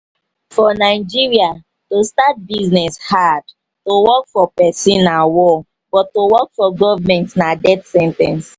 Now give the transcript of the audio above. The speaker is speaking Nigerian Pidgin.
for nigeria to start business hard to work for person na war but to work for government na death sen ten ce